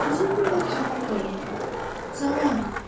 Qızıl güllər cavab verdilər: "Salam!"